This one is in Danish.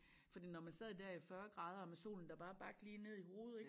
Fordi når man sad dér i 40 grader og med solen der bare bagte lige ned i hovedet ik